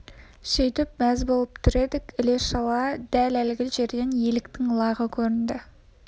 сөйтіп мәз болып тұр едік іле-шала дәл әлгі жерден еліктің лағы көрінді